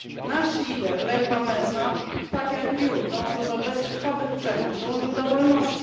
Nasz lider, Lech Wałęsa, tak jak Liu dążył do bezkrwawych przemian, dążył do wolności.